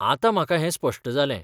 आतां म्हाका हें स्पश्ट जालें.